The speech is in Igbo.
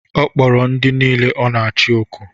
Ọ kpọrọ ndị nile ọ na-achi oku.